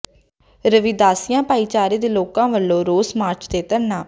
ਰਵਿਦਾਸੀਆ ਭਾਈਚਾਰੇ ਦੇ ਲੋਕਾਂ ਵੱਲੋਂ ਰੋਸ ਮਾਰਚ ਤੇ ਧਰਨਾ